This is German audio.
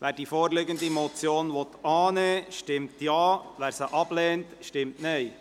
Wer die vorliegende Motion annehmen will, stimmt Ja, wer diese ablehnt, stimmt Nein.